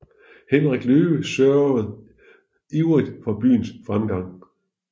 Henrik Løve sørgede ivrigt for byens fremgang